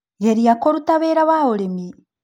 Geria kũruta wĩra wa ũrĩmi